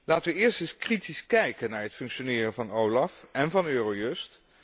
Laten we eerst eens kritisch kijken naar het functioneren van OLAF en van EUROJUST.